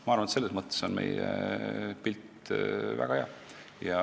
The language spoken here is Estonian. Ma arvan, et selles mõttes on meie pilt väga hea.